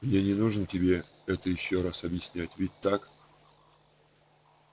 мне не нужно тебе это ещё раз объяснять ведь так